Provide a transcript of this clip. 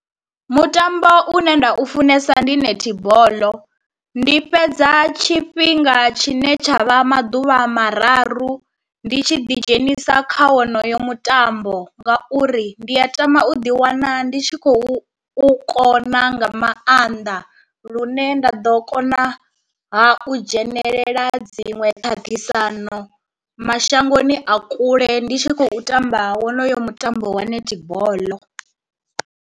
Mutambo une nda u funesa ndi netball, ndi fhedza tshifhinga tshine tsha vha maḓuvha mararu ndi tshi ḓi dzhenisa kha wonoyo mutambo, ngauri ndi a tama u ḓi wana ndi tshi khou u kona nga maanḓa lune nda ḓo kona ha u dzhenelela dziṅwe ṱhaṱhisano mashangoni a kule ndi tshi khou tamba wonoyo mutambo wa netball.